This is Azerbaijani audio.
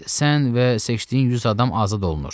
Sən və seçdiyin 100 adam azad olunur.